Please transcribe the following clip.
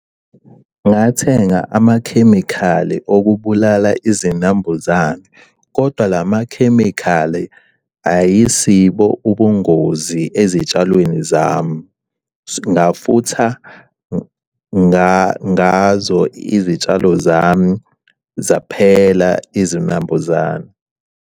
Ngathenga amakhemikhali okubulala izinambuzane kodwa la makhemikhali ayisibo ubungozi ezitshalweni zami. Ngafutha ngazo izitshalo zami zaphela izinambuzane.